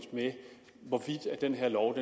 hvorvidt den her lov